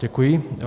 Děkuji.